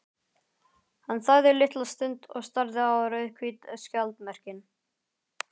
Hann þagði litla stund og starði á rauðhvít skjaldarmerkin.